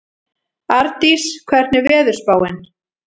Ardís, hvernig er veðurspáin?